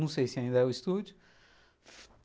Não sei se ainda é o estúdio.